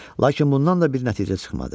Lakin bundan da bir nəticə çıxmadı.